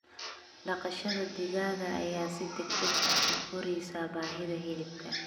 Dhaqashada digaaga ayaa si degdeg ah u koraysa baahida hilibka.